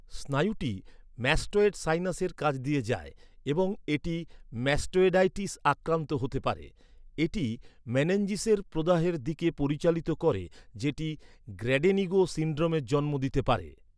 স্নায়ুটি mastoid সাইনাসের কাছ দিয়ে যায় এবং এটি ম্যাস্টয়েডাইটিস আক্রান্ত হতে পারে। এটি মেনেঞ্জিসের প্রদাহের দিকে পরিচালিত করে, যেটি গ্র্যাডেনিগো সিনড্রোমের জন্ম দিতে পারে।